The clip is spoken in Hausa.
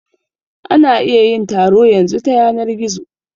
Ana iya yin taro yanzu ta yanar gizo